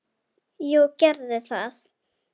Jú, gerðu það